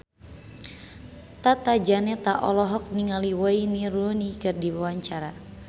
Tata Janeta olohok ningali Wayne Rooney keur diwawancara